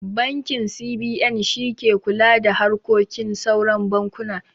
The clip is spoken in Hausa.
Bankin C.B.N shi ke kula da harkokin sauran bankuna